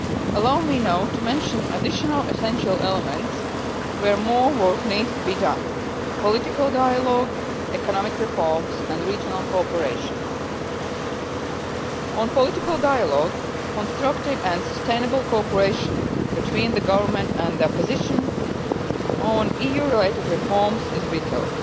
Allow me now to mention additional essential elements where more work needs to be done political dialogue, economic reforms and regional cooperation. As regards political dialogue, constructive and sustainable cooperation between the government and the opposition on EU related reforms is vital.